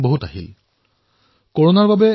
কৰোনাৰ বাবে বিশ্বত যোগান শৃংখলত বিপত্তিৰ সৃষ্টি হৈছে